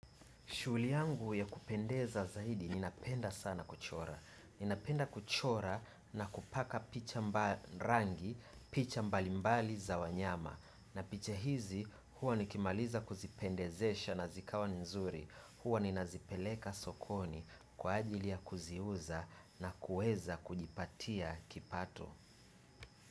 Shughuli yangu ya kupendeza zaidi ninapenda sana kuchora. Ninapenda kuchora na kupaka picha rangi, picha mbali mbali za wanyama. Na picha hizi huwa nikimaliza kuzipendezesha na zikawa nzuri. Huwa ninazipeleka sokoni kwa ajili ya kuziuza na kueza kujipatia kipato.